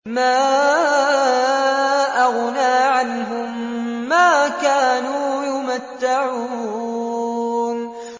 مَا أَغْنَىٰ عَنْهُم مَّا كَانُوا يُمَتَّعُونَ